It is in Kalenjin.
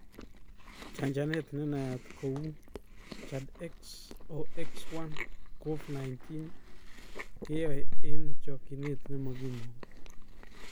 Chanjanet nenayat kouChAdxOx1nCoV-19-keyoe eng chokyinet nemokimogu.